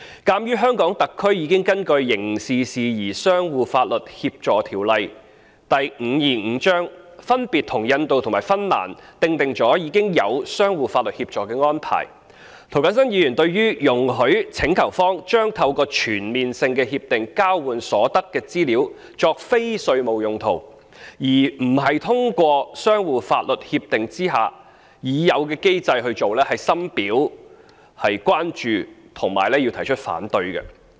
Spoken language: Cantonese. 鑒於特區已根據《刑事事宜相互法律協助條例》分別與印度及芬蘭訂定相互法律協助安排，涂謹申議員對於容許請求方將透過全面性協定交換所得的資料作非稅務用途，而不是通過相互法律協助已有的制度的做法，深表關注並提出反對。